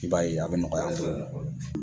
I b'a ye a bɛ nɔgɔya an bolo.